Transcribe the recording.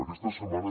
aquesta setmana